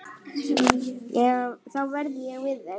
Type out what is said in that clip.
Þá verð ég við þeim.